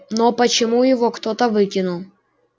но почему его кто-то выкинул